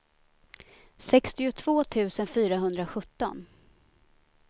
sextiotvå tusen fyrahundrasjutton